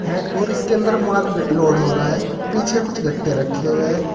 और इसके अन्दर मॉल लोड हो रहा है पीछे कुछ गट्टे रखें हुये है।